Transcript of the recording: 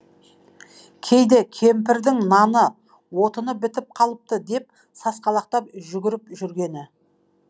кейде кемпірдің наны отыны бітіп қалыпты деп сасқалақтап жүгіріп жүргені